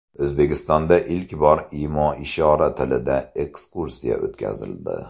O‘zbekistonda ilk bor imo-ishora tilida ekskursiya o‘tkazildi.